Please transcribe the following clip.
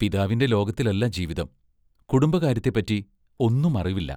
പിതാവിന്റെ ലോകത്തിലല്ല ജീവിതം; കുടുംബകാര്യത്തെപ്പറ്റി ഒന്നും അറിവില്ല.